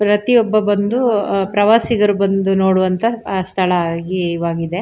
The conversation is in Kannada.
ಪ್ರತಿಯೊಬ್ಬ ಬಂದು ಅಹ್ ಪ್ರವಾಸಿಗರು ಬಂದು ನೋಡುವಂತ ಆ ಸ್ಥಳ ಆಗಿವಾಗಿದೆ.